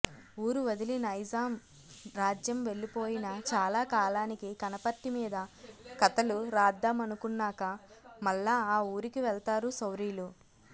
ఊరు వదిలి నైజాం రాజ్యం వెళ్లిపోయిన చాలాకాలానికి కనపర్తి మీద కతలు రాద్దామనుకున్నాక మళ్లా ఆ ఊరికి వెళ్తారు శౌరీలు